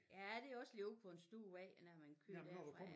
Ja det også lidt ude på en stor vej når man kører derfra ja